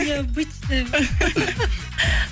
необычная ма